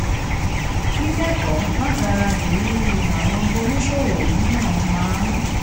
kíkẹ́kọ̀ọ́ látara ìrírí àwọn oníṣòwò mìíràn máa ń